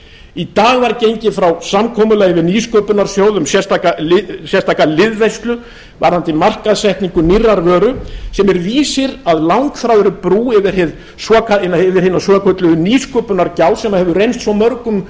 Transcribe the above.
í dag var gengið frá samkomulagi við nýsköpunarsjóð um sérstaka liðveislu varðandi markaðssetningu nýrrar vöru sem er vísir að langþráðri brú yfir hina svokölluðu nýsköpunargjá sem hefur reynst svo mörgum